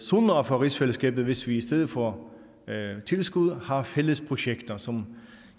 sundere for rigsfællesskabet hvis vi i stedet for tilskud har fælles projekter som